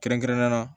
Kɛrɛnkɛrɛnnenya la